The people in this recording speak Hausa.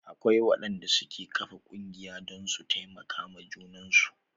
Akwai waɗanda suke ƙafa ƙungiya don su taimaka ma junan su.